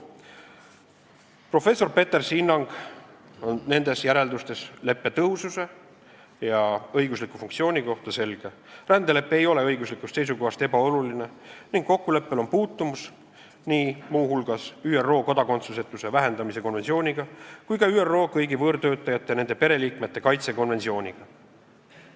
Professor Petersi hinnang on nendes järeldustes leppe tõhususe ja õigusliku funktsiooni kohta selge: rändelepe ei ole õiguslikust seisukohast ebaoluline ning kokkuleppel on puutumus muu hulgas nii ÜRO kodakondsusetuse vähendamise konventsiooniga kui ka ÜRO kõigi võõrtöötajate ja nende pereliikmete kaitse konventsiooniga.